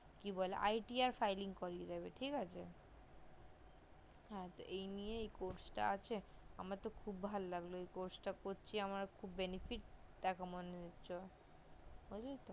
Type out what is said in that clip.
কি বলে ITR filing করিয়ে দেবে ঠিক আছে হা এই নিয়ে এই course টা আছে আমার তো খুব ভালো লাগলো এই course করছি আমার তো খুব benefit মনে হচ্ছে বুজলি তো